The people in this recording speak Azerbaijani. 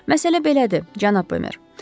Məsələ belədir, cənab Bemer.